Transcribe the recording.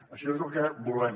això és el que volem